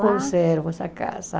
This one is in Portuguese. Conservo essa casa.